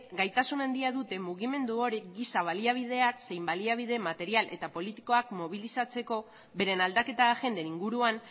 gaitasun handia dute mugimendu hori giza baliabideak zein baliabide material eta politikoak mobilizatzeko beren aldaketa agenden inguruan